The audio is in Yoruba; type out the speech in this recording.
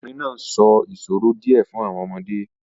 The woman is telling the children some riddles